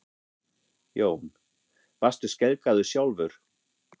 Jón: Varst þú skelkaður sjálfur?